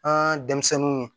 An denmisɛnninw